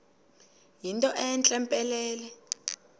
yinto entle mpelele